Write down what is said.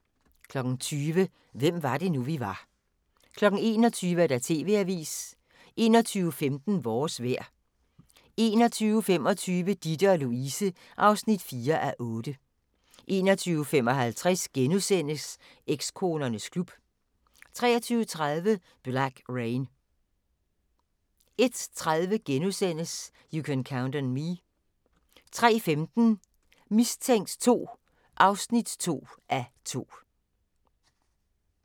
20:00: Hvem var det nu, vi var 21:00: TV-Avisen 21:15: Vores vejr 21:25: Ditte & Louise (4:8) 21:55: Ekskonernes klub * 23:30: Black Rain 01:30: You Can Count on Me * 03:15: Mistænkt 2 (2:2)